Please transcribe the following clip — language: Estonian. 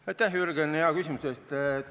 Aitäh, Jürgen, hea küsimuse eest!